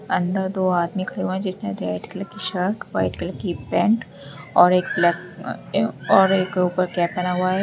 अंदर दो आदमी खड़े हुए हैं जिसने रेड कलर की शर्ट वाइट कलर की पैंट और एक ब्लैक ए अ और एक ऊपर कैप पहना हुआ है।